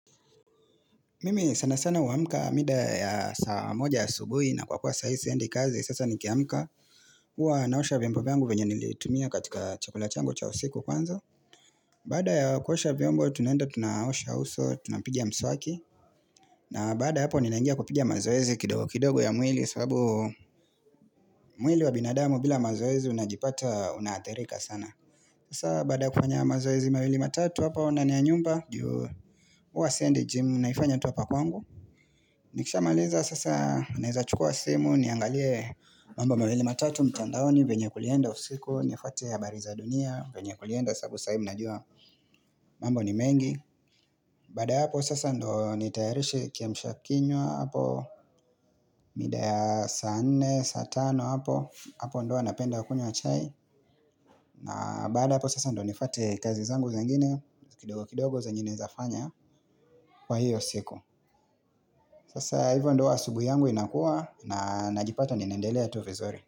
Mimi sana sana huamka mida ya saa moja ya subuhi na kwa kuwa sai siendi kazi sasa nikiamka. Huwa naosha vyombo vyangu venye nilitumia katika chakula changu cha usiku kwanza. Baada ya kuosha vyombo tunaenda tunaosha uso tunapiga mswaki. Na baada ya hapo ninaingia kupiga mazoezi kidogo kidogo ya mwili. Sababu mwili wa binadamu bila mazoezi unajipata unaathirika sana. Sasa baada kufanya mazoezi mawili matatu hapo ndani ya nyumba. Ju huwa siendi jimu naifanya tu hapa kwangu. Nikishamaliza sasa naeza chukua simu niangalie mambo mawili matatu mtandaoni venye kulienda usiku nifuatie habari za dunia venye kulienda sababu sahii mnajua mambo ni mengi Baada ya hapo sasa ndo nitayarishe kiamsha kinywa hapo mida ya saa nne, saa tano hapo hapo ndo hua napenda kunywa chai na baada ya hapo sasa ndo nifuate kazi zangu zengine kidogo kidogo zenye naezafanya kwa hiyo siku Sasa hivyo ndo huwa asubuhi yangu inakuwa na najipata ninaendelea tu vizuri.